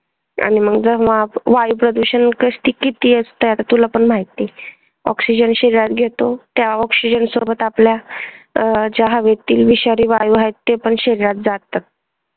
वायू प्रदूषण ते किती असतं आता तुला पण माहित नाही oxygen शरीरात घेतो त्या oxygen सोबत आपला